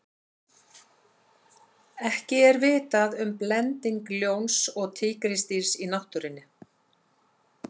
ekki er vitað um blending ljóns og tígrisdýrs í náttúrunni